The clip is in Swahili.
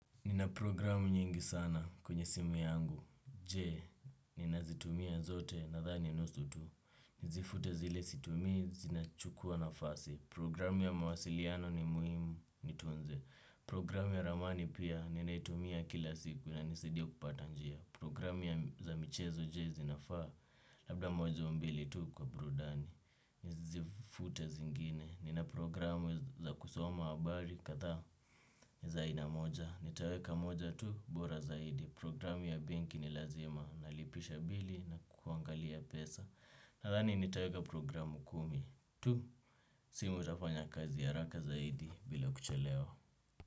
Nina programu nyingi sana kwenye simu yangu. Je, ninazitumia zote nadhani nusu tu, nizifute zile situmii zinachukua nafasi, programu ya mawasiliano ni muhimu nitunze. Programu ya ramani pia ninaitumia kila siku na inanisidia kupata njia. Programu ya za michezo je, zinafaa? Labda moja au mbili tu kwa burudani, nizifute zingine, nina programu za kusoma habari kadhaa ni za ainamoja. Nitaweka moja tu bora zaidi. Programu ya benki ni lazima. Nalipisha bili na kuangalia pesa. Nadhani nitaweka programu kumi tu. Simu itafanya kazi haraka zaidi bila kuchelewa.